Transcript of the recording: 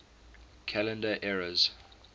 calendar eras